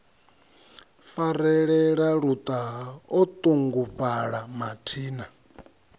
farelela luṱaha o ṱungufhala mathina